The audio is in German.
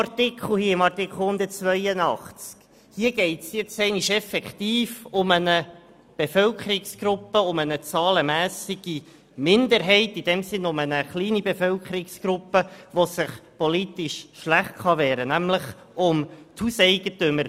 In Artikel 182 geht es einmal tatsächlich um eine kleine Bevölkerungsgruppe, um eine zahlenmässige Minderheit, die sich politisch schlecht wehren kann, nämlich um die Hauseigentümer.